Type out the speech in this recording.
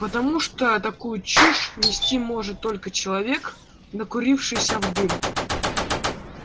потому что такую чушь нести может только человек накурившийся в дым